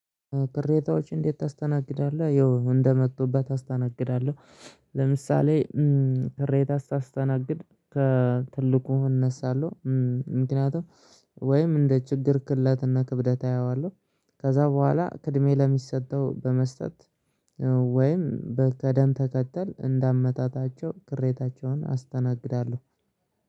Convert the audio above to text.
"ቅሬታዎችን እንዴት ታስተናግዳለህ?" ያው እንደመጡበት አስተናግዳለሁ። ለምሳሌ ቅሬታ ስታስተናግድ ከትልቁ እነሳለሁ። ምክንያቱም፤ ወይም እንደ ችግር ቅለትና ክብደት አየዋለሁ። ከዛ በኋላ ቅድሚያ ለሚሰጠው በመስጠት ወይም በቅደም ተከተል፣ እንደ አመጣጣቸው ቅሬታቸውን አስተናግዳለሁ።